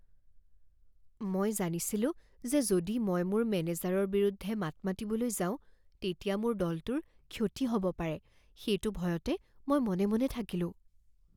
মই জানিছিলো যে যদি মই মোৰ মেনেজাৰৰ বিৰুদ্ধে মাত মাতিবলৈ যাওঁ, তেতিয়া মোৰ দলটোৰ ক্ষতি হ'ব পাৰে, সেইটো ভয়তে মই মনে মনে থাকিলোঁ।